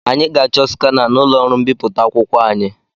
Anyị ga-achọ skana n'ụlọ ọrụ mbipụta akwụkwọ anyị.